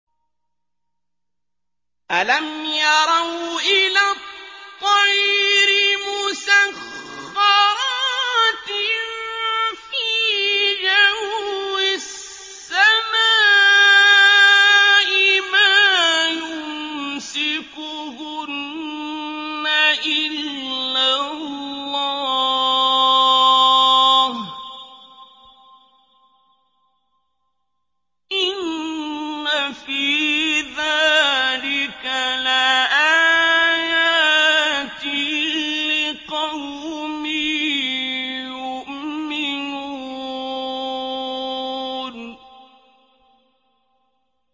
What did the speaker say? أَلَمْ يَرَوْا إِلَى الطَّيْرِ مُسَخَّرَاتٍ فِي جَوِّ السَّمَاءِ مَا يُمْسِكُهُنَّ إِلَّا اللَّهُ ۗ إِنَّ فِي ذَٰلِكَ لَآيَاتٍ لِّقَوْمٍ يُؤْمِنُونَ